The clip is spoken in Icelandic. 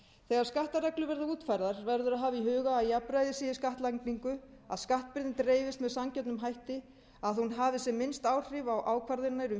þegar skattareglur verða útfærðar verður að hafa í huga að jafnræði sé í skattlagningu að skattbyrðin dreifist með sanngjörnum hætti að hún hafi sem minnst áhrif á ákvarðanir um